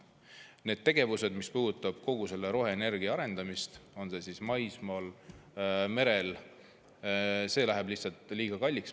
Need tegevused, mis puudutavad roheenergia arendamist, on see siis maismaal või merel, lähevad meile lihtsalt liiga kalliks.